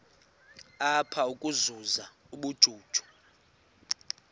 apha ukuzuza ubujuju